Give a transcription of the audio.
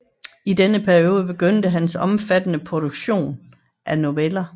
I denne periode begyndte hans omfattende produktion af noveller